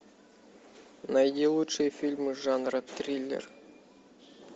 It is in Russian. найди лучшие фильмы жанра триллер